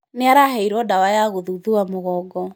Nĩ araheirwo ndawa ya kũthuthua mũgongo.